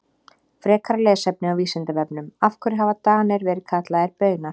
Frekara lesefni á Vísindavefnum Af hverju hafa Danir verið kallaðir Baunar?